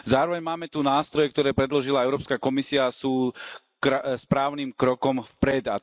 Zároveň máme tu nástroje, ktoré predložila Európska komisia, sú správnym krokom vpred.